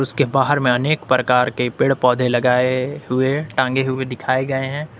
जिसके बाहर में अनेक प्रकार के पेड़ पौधे लगाए हुए टांगे हुए दिखाए गए हैं।